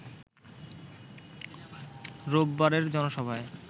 রোববারের জনসভায়